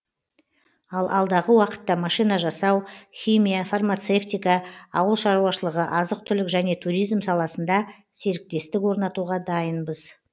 ал алдағы уақытта машина жасау химия фармацевтика ауылшаруашылығы азық түлік және туризм саласында серіктестік орнатуға дайынбыз